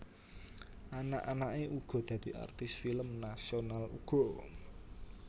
Anak anake uga dadi artis film nasional uga